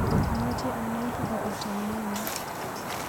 Amache anai akobo tauneng'ung.